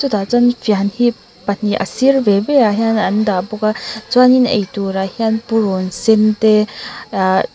chutah chuan fian hi pahnih a sir ve ve ah hian an dah bawk a chuan in eitur ah hian purun sen te ahh--